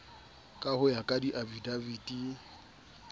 ka ho ya ka diafidaviti